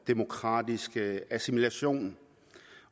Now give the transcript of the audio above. demokratiske assimilation